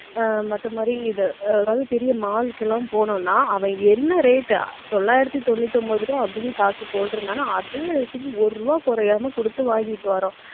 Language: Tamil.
ஆஹ் மத்த மாதிரி இதை, அதாவது பெரிய mall க்கு எல்லாம் போனோம்னா, அவன் என்ன rate தொள்ளாயிரத்தி தொண்ணூத்தி ஒன்பது ரூபாய் அப்படின்னு காசு போட்டிருந்தானோ, அதே rate க்கு ஒரு ரூபாய் குறையாம கொடுத்து வாங்கிட்டு வர்றோம்